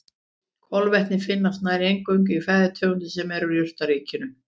Kolvetni finnast nær eingöngu í fæðutegundum sem eru úr jurtaríkinu.